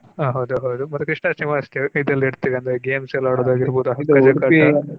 ಹ ಹೌದು ಹೌದು ಮತ್ತೆ Janmastami Krishnastami ಆಚರಿಸ್ತಾರೆ ಮತ್ತೆ ಇದೆಲ್ಲ ಇಡ್ತೇವೆ ಅಂದ್ರೆ games ಎಲ್ಲ ಆಡುದಾಗಿರ್ಬೋದು